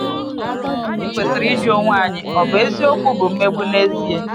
Anyị kwesịrị ịjụ onwe anyị, ‘Ọ̀ bụ eziokwu bụ mmegbu n’ezie?’